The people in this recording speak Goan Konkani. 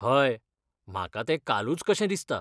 हय, म्हाका तें कालूच कशें दिसता.